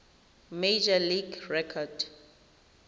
major league record